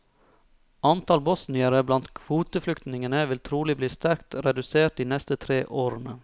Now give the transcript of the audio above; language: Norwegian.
Antall bosniere blant kvoteflyktningene vil trolig bli sterkt redusert de neste tre årene.